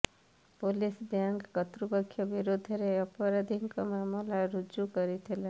police bank କର୍ତ୍ତୃପକ୍ଷଙ୍କ ବିରୋଧରେ ଅପରାଧୀକ ମାମଲା ରୁଜୁ କରିଥିଲା